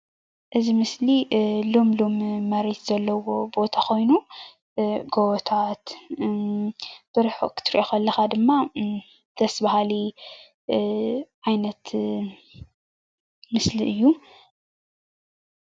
እዚ ምስሊ ልምሉም መሬት ዘለዎ ቦታ ኮይኑ ጎቦታት ብርሑቅ ክትሪኦ ከለካ ድማ ደስ በሃሊ ዓይነት ምስሊ እዩ፡፡